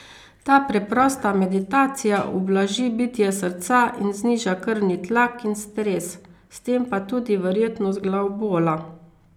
Ta preprosta meditacija ublaži bitje srca in zniža krvni tlak in stres, s tem pa tudi verjetnost glavobola.